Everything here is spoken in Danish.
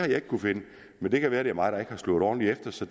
men det kan være det er mig der ikke har slået ordentlig efter så